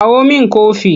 Kawo min kofi!